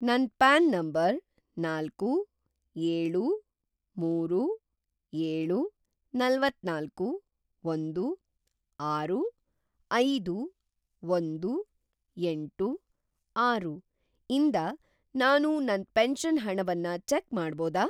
ನನ್ PAN number ನಾಲ್ಕು, ಏಳು, ಮೂರು, ಏಳು, ನಲವತ್ತನಾಲ್ಕು, ಒಂದು, ಆರು, ಐದು, ಒಂದು, ಎಂಟು, ಆರು ಇಂದ ನಾನು ನನ್‌ ಪೆನ್ಷನ್‌ ಹಣವನ್ನ ಚೆಕ್‌ ಮಾಡ್ಬೋದಾ?